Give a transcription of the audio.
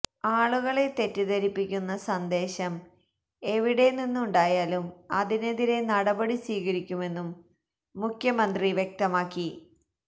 ആളുകളെ തെറ്റിധരിപ്പിക്കുന്ന സന്ദേശം എവിടെനിന്നുണ്ടായാലും അതിനെതിരെ നടപടി സ്വീകരിക്കുമെന്നും മുഖ്യമന്ത്രി വ്യക്തമാക്കി